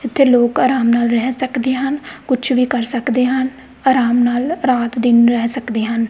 ਇਥੇ ਲੋਕ ਆਰਾਮ ਨਾਲ ਰਹਿ ਸਕਦੇ ਹਨ ਕੁਝ ਵੀ ਕਰ ਸਕਦੇ ਹਨ ਆਰਾਮ ਨਾਲ ਰਾਤ ਦਿਨ ਰਹਿ ਸਕਦੇ ਹਨ।